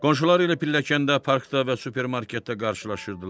Qonşuları ilə pilləkəndə, parkda və supermarketdə qarşılaşırdılar.